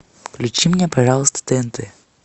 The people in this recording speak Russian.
включи мне пожалуйста тнт